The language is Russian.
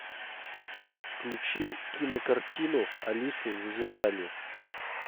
включи кинокартину алису в зазеркалье